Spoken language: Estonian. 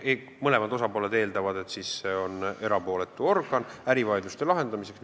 Mõlemad osapooled eeldavad, et see on erapooletu organ ärivaidluste lahendamiseks.